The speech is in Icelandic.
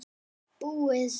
Búið